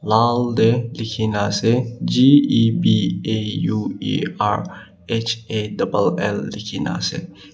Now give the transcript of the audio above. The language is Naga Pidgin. lal te likhe kina ase gebauerhall lekhi na ase.